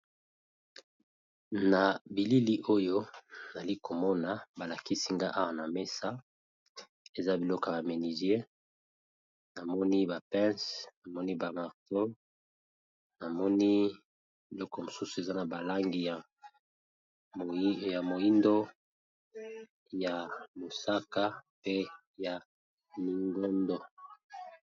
Na bilili oyo nazali komona balakisi nga awa na messa eza biloko ya ménisier, namoni ba pence namoni ba marto namoni eloko mosusu eza na balangi ya moindo, ya mosaka pe ya lingondo.